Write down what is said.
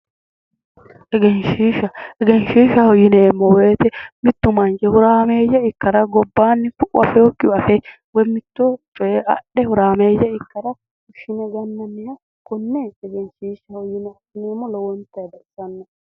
Egenshiishsha egenshiishshaho yineemmo woyte mittu manchi horaameeyye ikkara gobbaanni afeyokkihu afe woyi mito coye adhe horaameeyye ikkara fushshine gannanniha konne egenshiishshaho yineemmo lowontayi baxisanno